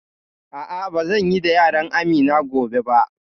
A'a, ba zan yi da yaran Amina gobe ba